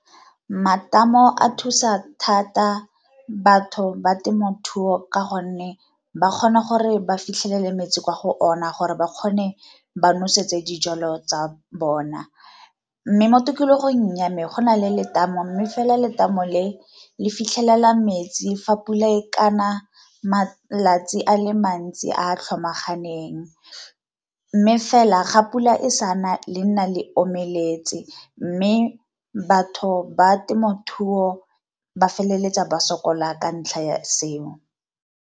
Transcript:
Matamo a thusa thata batho ba temothuo ka gonne ba kgona gore ba fitlhelele metsi kwa go ona gore ba kgone ba nosetse dijalo tsa bona, mme mo tikologong ya me go na le letamo mme fela letamo le le fitlhelela metsi fa pula e kana malatsi a le mantsi a tlhomaganang. Mme fela ga pula e sana le nna le omeletse, mme batho ba temothuo ba feleletsa ba sokola ka ntlha ya seo.